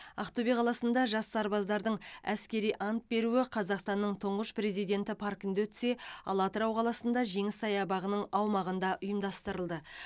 ақтөбе қаласында жас сарбаздардың әскери ант беруі қазақстанның тұңғыш президенті паркінде өтсе ал атырау қаласында жеңіс саябағының аумағында ұйымдастырылды